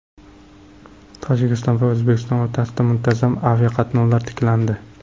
Tojikiston va O‘zbekiston o‘rtasida muntazam aviaqatnovlar tiklandi.